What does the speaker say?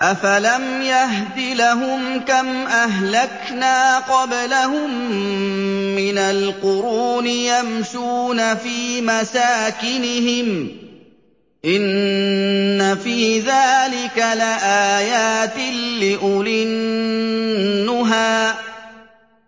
أَفَلَمْ يَهْدِ لَهُمْ كَمْ أَهْلَكْنَا قَبْلَهُم مِّنَ الْقُرُونِ يَمْشُونَ فِي مَسَاكِنِهِمْ ۗ إِنَّ فِي ذَٰلِكَ لَآيَاتٍ لِّأُولِي النُّهَىٰ